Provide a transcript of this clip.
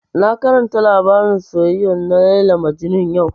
Na karanta labarin soyayya na Layla Majnun yau